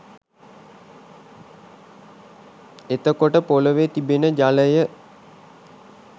එතකොට පොළොවෙ තිබෙන ජලය